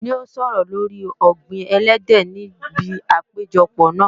N ó sọ̀rọ̀ lóri ọ̀gbìn ẹlẹ́dẹ̀ níbi àpèjọ náà